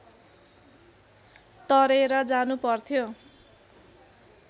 तरेर जानुपर्थ्यो